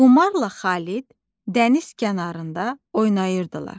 Xumarla Xalid dəniz kənarında oynayırdılar.